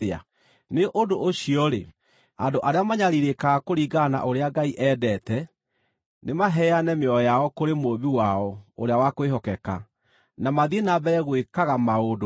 Nĩ ũndũ ũcio-rĩ, andũ arĩa manyariirĩkaga kũringana na ũrĩa Ngai endete, nĩmaheane mĩoyo yao kũrĩ Mũũmbi wao ũrĩa wa kwĩhokeka, na mathiĩ na mbere gwĩkaga maũndũ mega.